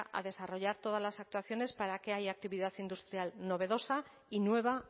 a desarrollar todas las actuaciones para que haya actividad industrial novedosa y nueva